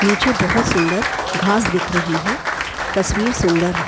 नीचे बहुत सुंदर घास दिख रही है तस्वीर सुंदर है।